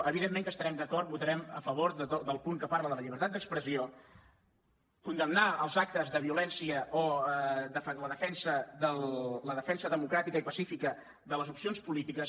evidentment que estarem d’acord votarem a favor del punt que parla de la llibertat d’expressió condemnar els actes de violència o la defensa democràtica i pacífica de les opcions polítiques